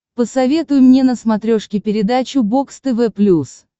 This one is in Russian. посоветуй мне на смотрешке передачу бокс тв плюс